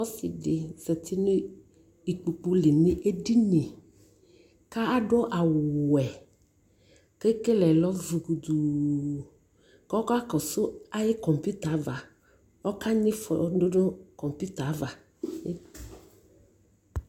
Ɔsi di zati nu ikpoku li nu ɛdini ka du awu wɛ Kɛkele lɔ zu kutuu kɔ ka kɔ su ayʋ kɔmputa avaƆka nyi fɔ du nu kɔmputa ava